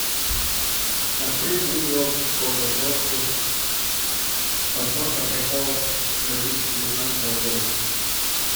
открыть видео по запросу подборка приколов две тысячи девятнадцатого года